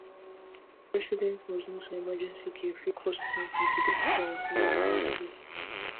residents must know say emergency care fit cost plenty to get quick and affordable healthcare